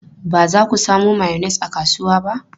Ba za ku samo mayonnaise a kasuwa ba?